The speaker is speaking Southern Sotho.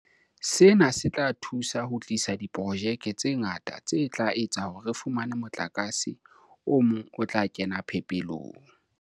Sena se tla thusa ho tlisa diprojeke tse ngata tse tla etsa hore re fumane motlakase o mong o tla kena phepelong.